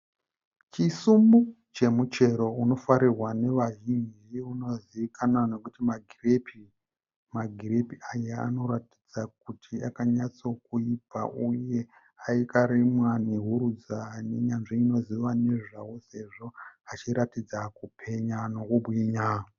Chisumbu chemuchero unofarirwa nevazhinji unozivikanwa nokuti magirepi. Magirepi aya anoratidza kuti akanyatsokuibva uye akarimwa nehurudza nenyanzvi inoziva nezvawo sezvo achiratidza kupenya nekubwinya.